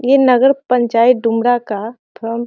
ये नगर पंचायत डुमरा का फ्रम --